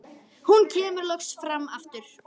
Hún kemur loks fram aftur.